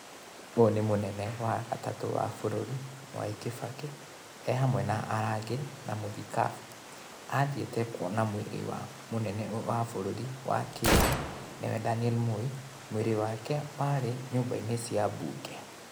Ũyũ nĩ mũnene wa gatatũ wa bũrũri Mwai Kĩbakĩ, ehamwe na arangĩri na mũthikabu. Athiĩte kũona mwĩrĩ wa mũnene wa bũrũri wa kerĩ nĩwe Daniel Moi, mwĩrĩ wake warĩ nyũmba-inĩ cia mbunge.